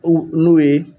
U n'u ye